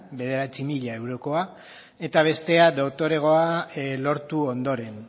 bederatzi mila eurokoa eta bestea doktoregoa lortu ondoren